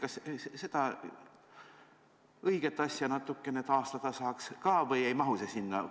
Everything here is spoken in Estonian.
Kas sellist õiget asja saaks ka natukene taastada või ei mahu see sinna?